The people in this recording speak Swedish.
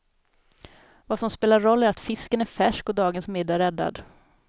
Vad som spelar roll är att fisken är färsk och dagens middag räddad.